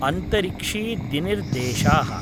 अंतरिक्षी दिनिर्देशाः